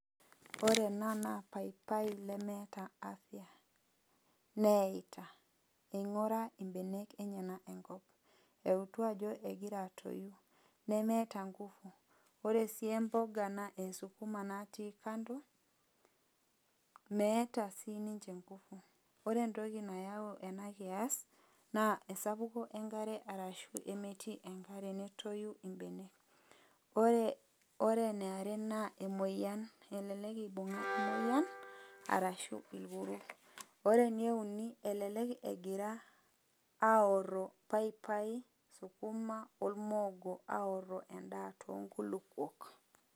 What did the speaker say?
Ore ena naa paipai nemeeta afya. Meita. Ing'ura ibenek enyanak enkop. Eutu ajo egira atoyu. Nemeeta ngufu. Ore si mboga esukuma natii kando, meeta sininche ngufu. Ore entoki nayau enakias, naa esapuko enkare arashu emetii enkare netoyu ibenek. Ore eniare naa emoyian. Elelek ibung'a emoyian, arashu irkuru. Ore eneuni, elelek egira aorro paipai, sukuma ormoogo, aorro endaa tonkulukuok.